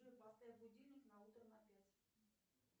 джой поставь будильник на утро на пять